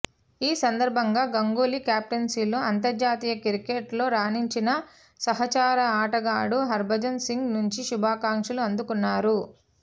ఈ సందర్భంగా గంగూలీ కెప్టెన్సీలో అంతర్జాతీయ క్రికెట్ లో రాణించిన సహచర ఆటగాడు హర్భజన్ సింగ్ నుంచి శుభాకాంక్షలు అందుకున్నారు